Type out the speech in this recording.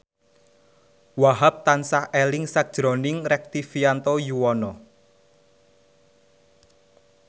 Wahhab tansah eling sakjroning Rektivianto Yoewono